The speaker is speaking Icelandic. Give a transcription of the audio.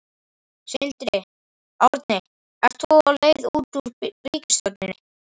Sindri: Árni ert þú á leið út úr ríkisstjórninni?